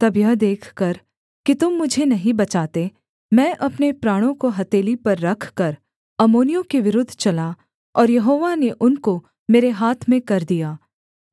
तब यह देखकर कि तुम मुझे नहीं बचाते मैं अपने प्राणों को हथेली पर रखकर अम्मोनियों के विरुद्ध चला और यहोवा ने उनको मेरे हाथ में कर दिया